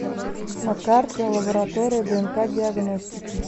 на карте лаборатория днк диагностики